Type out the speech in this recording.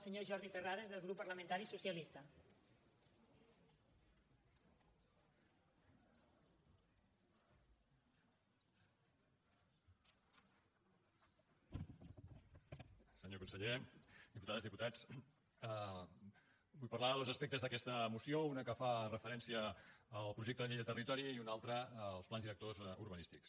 senyor conseller diputades diputats vull parlar de dos aspectes d’aquesta moció un que fa referència al projecte de llei del territori i un altre als plans directors urbanístics